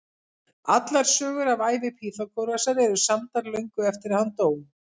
Allar sögur af ævi Pýþagórasar eru samdar löngu eftir að hann dó.